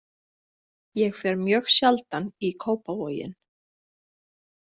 Ég fer mjög sjaldan í Kópavoginn.